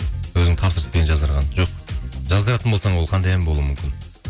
өзің тапсырыспен жаздырған жоқ жаздыратын болсаң ол қандай ән болуы мүмкін